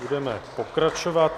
Budeme pokračovat.